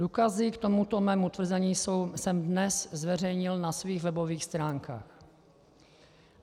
Důkazy k tomuto svému tvrzení jsem dnes zveřejnil na svých webových stránkách.